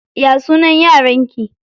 Ya sunan yaran ki?